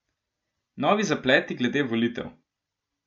Novi zapleti glede volitev?